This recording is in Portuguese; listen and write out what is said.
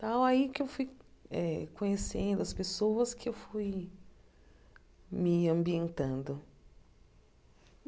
Tal aí que eu fui eh conhecendo as pessoas que eu fui me ambientando.